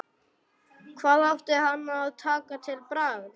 Hvað átti hann að taka til bragðs?